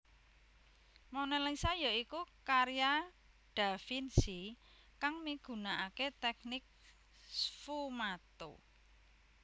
Monalisa ya iku karya da Vinci kang migunakaké teknik sfumato